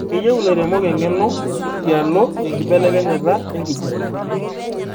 keyieu ilairemok eng'eno tialo enkibelekenyata enkijape